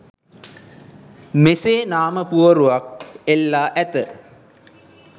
මෙසේ නාම පුවරුවක් එල්ලා ඇත.